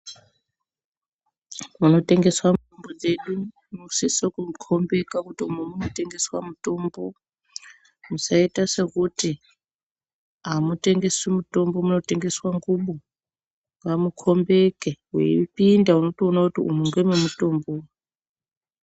Kunotengesa mitombo dzedu kunosise kukombeka kuti umu munotengeswa mutombo musaita sekuti amutengeswi mutombo munotengeswe ngubo ngamukombeke weipinda unotoona kuti umwu ngemwe mutombo.